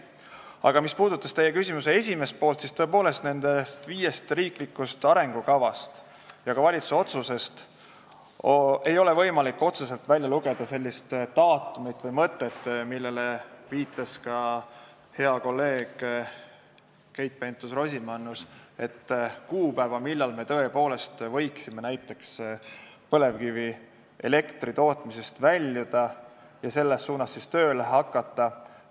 Aga mis puudutab küsimuse esimest poolt, siis tõepoolest, nendest viiest riiklikust arengukavast ja ka valitsuse otsusest ei ole võimalik otseselt välja lugeda daatumit või kuupäeva – sellele viitas ka hea kolleeg Keit Pentus-Rosimannus –, millal me võiksime näiteks põlevkivielektri tootmisest väljuda, selles suunas tööle hakata.